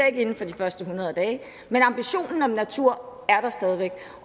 ikke inden for de første hundrede dage men ambitionen om at natur er der stadig væk